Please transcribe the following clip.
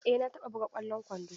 Eh na taɓa buga ƙwallon kwando.